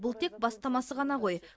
бұл тек бастамасы ғана ғой